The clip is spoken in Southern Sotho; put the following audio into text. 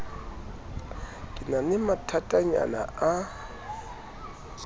ke na le mathatanyana a